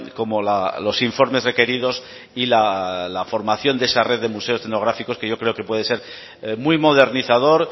como los informes requeridos y la formación de esa red de museos etnográficos que yo creo que puede ser muy modernizador